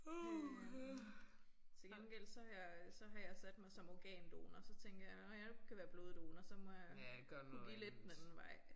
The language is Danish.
Øh til gengæld så har jeg øh så har jeg sat mig som organdonor så tænker jeg når jeg nu ikke kan være bloddonor så må jeg kunne give lidt den anden vej